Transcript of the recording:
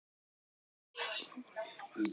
Og þess vegna vorkennir maður þeim ekki.